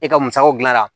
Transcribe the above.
E ka musakaw dilanna